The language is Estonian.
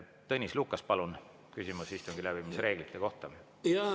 Tõnis Lukas, palun, küsimus istungi läbiviimise reeglite kohta!